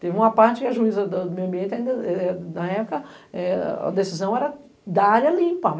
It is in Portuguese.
Teve uma parte que a juíza do meio ambiente, na época, a decisão era da área limpa.